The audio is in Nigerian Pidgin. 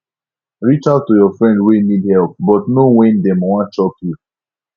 reach out to your friend wey need help but know when dem wan chop you